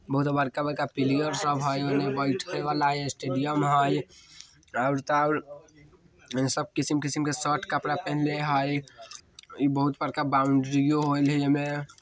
बहुत बड़का-बड़का पिल्यर सब है उने बैठे वाला स्टेडियम है और ते और सब किसिम के शर्ट कपड़ा पहिनले है ई बहुत बड़का बाउंड्रीयो हई --